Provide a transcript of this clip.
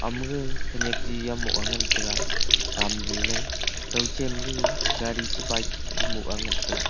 mage khenak jiyam moh ang taiga tamley kow cha gaga gari chi bike chu moh ang ngan taiga.